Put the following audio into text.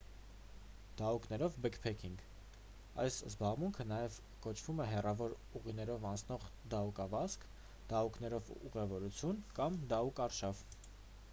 դահուկներով բեքփեքինգ այս զբաղմունքը նաև կոչվում է հեռավոր ուղիներով անցնող դահուկավազք դահուկներով ուղևորություն կամ դահուկարշավ